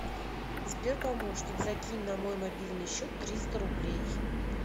сбер помощник закинь на мой мобильный счет триста рублей